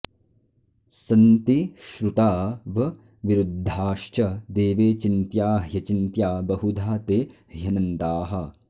संति श्रुतावविरुद्धाश्च देवे चिन्त्या ह्यचिन्त्या बहुधा ते ह्यनन्ताः